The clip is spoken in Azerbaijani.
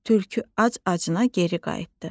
Tülkü ac-acına geri qayıtdı.